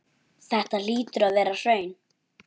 Þetta hlýtur að vera hraun.